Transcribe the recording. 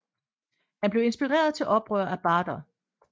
Han blev inspireret til oprør af Bader